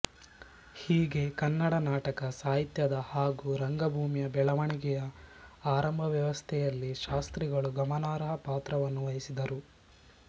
ಹೀಗೆ ಕನ್ನಡ ನಾಟಕ ಸಾಹಿತ್ಯದ ಹಾಗೂ ರಂಗಭೂಮಿಯ ಬೆಳವಣಿಗೆಯ ಆರಂಭಾವಸ್ಥೆಯಲ್ಲಿ ಶಾಸ್ತ್ರಿಗಳು ಗಮನಾರ್ಹ ಪಾತ್ರವನ್ನು ವಹಿಸಿದ್ದರು